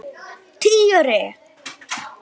Helga: Hvernig gekk biðin?